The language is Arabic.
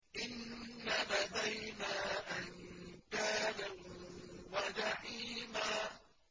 إِنَّ لَدَيْنَا أَنكَالًا وَجَحِيمًا